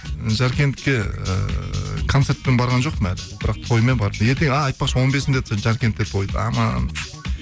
ы жаркентке ыыы концертпен барған жоқпын әлі бірақ тоймен барып ертең а айтпақшы он бесінде жаркентте той